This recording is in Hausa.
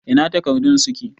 Ina takardun suke?